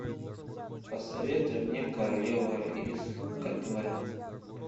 посоветуй мне королева из катве